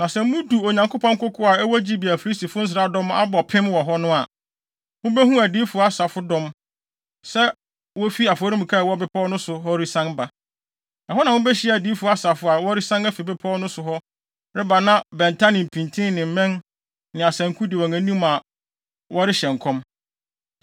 “Na sɛ mudu Onyankopɔn koko a ɛwɔ Gibea a Filistifo nsraadɔm abɔ pem wɔ hɔ no a, mubehu adiyifo asafodɔm sɛ wofi afɔremuka a ɛwɔ bepɔw no so hɔ resian ba. Ɛhɔ na mubehyia adiyifo asafo a wɔresian afi bepɔw no so hɔ reba na bɛnta ne mpintin ne mmɛn ne asanku di wɔn anim a wɔrehyɛ nkɔm.